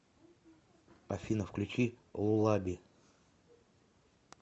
афина включи лулаби